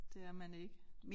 Det er man ikke